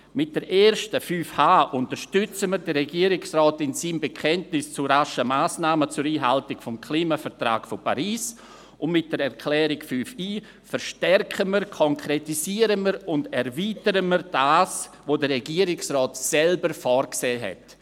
Mit der ersten, 5.h, unterstützen wir den Regierungsrat in seinem Bekenntnis zu raschen Massnahmen zur Einhaltung des Klimavertrags von Paris, und mit der Erklärung 5.i verstärken, konkretisieren und erweitern wir das, was der Regierungsrat selbst vorgesehen hat.